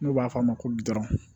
N'u b'a f'a ma ko gurɔn